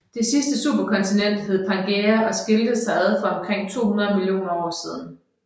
Det sidste superkontinent hed Pangæa og skilte sig ad for omkring 200 millioner år siden